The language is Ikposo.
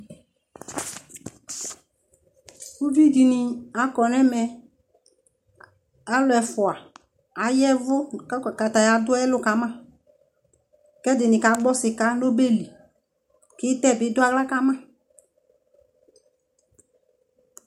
ʋvi dini akɔnʋ ɛmɛ, alʋ ɛƒʋa ayavʋ kʋ kataya dʋ ɛlʋ kama kʋ ɛdini ka gbɔ sika nʋ ɔbɛli kʋ itɛ bi dʋ ala kama